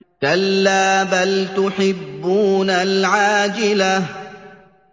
كَلَّا بَلْ تُحِبُّونَ الْعَاجِلَةَ